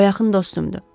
O yaxın dostumdur.